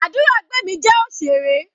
Aduragbemi jẹ́ òṣèré.